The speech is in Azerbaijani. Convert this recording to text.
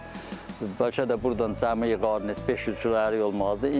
Bəlkə də burdan cəmi yığardın heç bir beş-üç kiloluq ərik olmazdı.